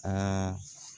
Aa